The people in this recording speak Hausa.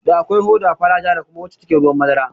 Da akwai hoda fara, ja, da kuma wacce take ruwan madara